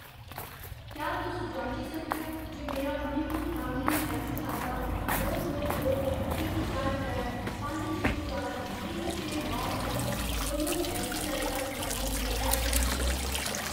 क्या तुस जांची सकदे ओ जे मेरा मणिपुर ग्रामीण बैंक खाता दो दो दो इक चार त्रै पंज छे चार इक छे नौ इक योनो ऐस्सबीआई दा समर्थन करदा ऐ जां नेईं ?